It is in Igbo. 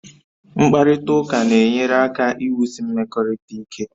Mkparịta ụka na-enyere aka iwusi mmekọrịta ike